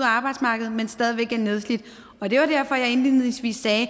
arbejdsmarkedet men stadig væk er nedslidt det er jo derfor at jeg indledningsvis sagde at